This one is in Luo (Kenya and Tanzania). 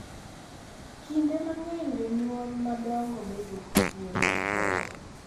Kinde mang’eny jonyuol madongo bedo gi thuolo, horuok,